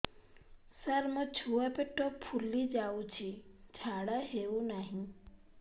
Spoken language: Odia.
ସାର ମୋ ଛୁଆ ପେଟ ଫୁଲି ଯାଉଛି ଝାଡ଼ା ହେଉନାହିଁ